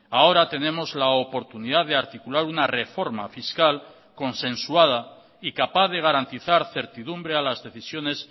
ahora tenemos la oportunidad de articular una reforma fiscal consensuada y capaz de garantizar certidumbre a las decisiones